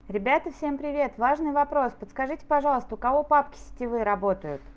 ребята всем привет важный вопрос подскажите пожалуйста у кого папки сетевые работают